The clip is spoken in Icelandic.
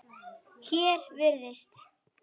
Hér virðist